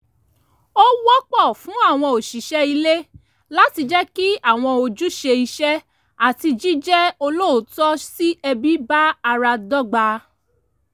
ó wọ́pọ̀ fún àwọn òṣìṣẹ́ ilé láti jẹ́ kí àwọn ojúṣe iṣẹ́ àti jíjẹ́ olóòótọ́ sí ẹbí bá ara dọ́gba